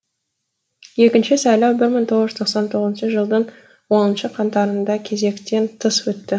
екінші сайлау бір мың тоғыз жүз тоқсан тоғызыншы жылдың оныншы қаңтарында кезектен тыс өтті